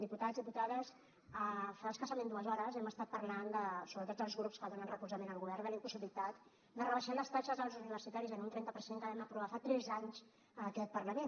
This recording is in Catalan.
diputats diputades fa escassament dues hores hem estat parlant sobretot els grups que donen suport al govern de la impossibilitat de rebaixar les taxes als universitaris en un trenta que vam aprovar fa tres anys a aquest parlament